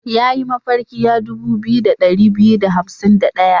Ya yi mafarki ya dubu biyu da ɗari biyu da hansim da ɗaya.